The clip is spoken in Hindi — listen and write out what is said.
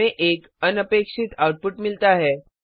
हमे एक अनपेक्षित आउटपुट मिलता है